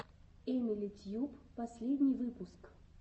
эмили тьюб последний выпуск